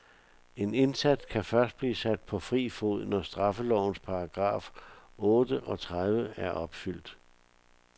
En indsat kan først blive sat på fri fod, når straffelovens paragraf otte og tredive er opfyldt.